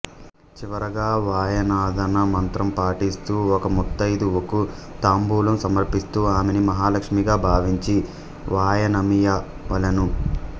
చివరగా వాయనదాన మంత్రం పఠిస్తూ ఒక ముత్తైదువకు తాంబూలం సమర్పిస్తూ ఆమెని మహాలక్ష్మీగా భావించి వాయనమీయవలెను